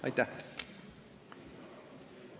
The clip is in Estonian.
Aitäh!